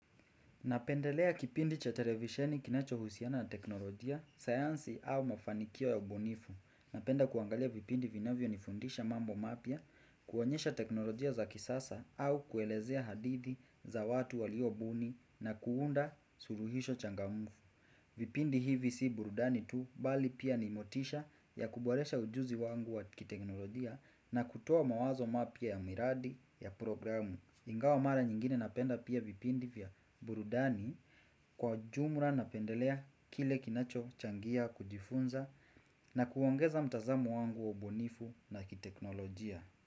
Napendelea kipindi cha televisheni kinacho husiana na teknolojia, sayansi au mafanikio ya ubunifu. Napenda kuangalia vipindi vinavyo nifundisha mambo mapya, kuonyesha teknolojia za kisasa au kuelezea hadithi za watu waliobuni na kuunda suluhisho changamfu. Vipindi hivi si burudani tu bali pia ni motisha ya kuboresha ujuzi wangu wa kiteknolojia na kutoa mawazo mapya ya miradi ya programu. Ingawa mara nyingine napenda pia vipindi vya burudani kwa jumra napendelea kile kinacho changia kujifunza na kuongeza mtazamo wangu wa ubunifu na kiteknolojia.